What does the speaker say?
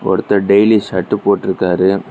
ஒருத்தர் daily shirt போட்டுறுக்காரு.